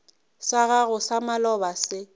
sa gago sa maloba se